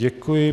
Děkuji.